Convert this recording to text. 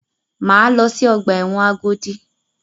Máa lọ sí ọgbà ẹ̀wọ̀n Agodi.